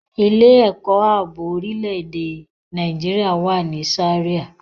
Ilé-ẹ̀kọ́ ààbò orílẹ̀-èdè Nàìjíríà wà ní Zaria.